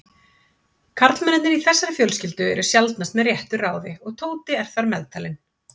Karlmennirnir í þessari fjölskyldu eru sjaldnast með réttu ráði og Tóti er þar meðtalinn.